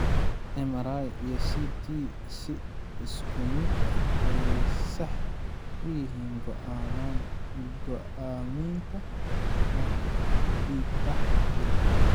MRI iyo CT si isku mid ah ayey sax u yihiin go'aaminta marka dhiigbax jiro.